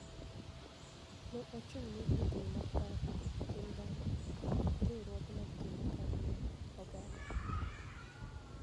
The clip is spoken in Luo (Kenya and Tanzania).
Ne ochung'ne riekni mag paro, tim dhano, kod riwruoge mag tim makare mar oganda.